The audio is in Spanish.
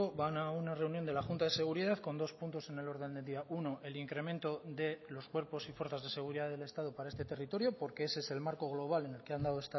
van a una reunión de la junta de seguridad con dos puntos en el orden del día uno el incremento de los cuerpos y fuerzas de seguridad del estado para este territorio porque ese es el marco global en el que han dado